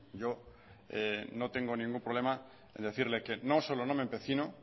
yo no tengo ningún problema en decirle que no solo no me empecino